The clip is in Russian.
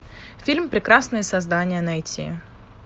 фильм прекрасные создания найти